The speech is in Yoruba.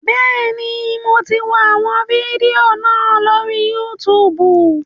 Bẹ́ẹ̀ni, mo ti wọ àwọn fídíò náà lórí Yútùùbù